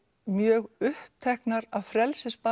mjög uppteknar af frelsisbaráttu